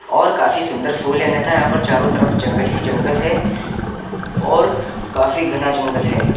और काफी सुन्दर फूल हैं अन्यथा यहां पर चारों तरफ जंगल ही जंगल है और काफी घना जंगल है।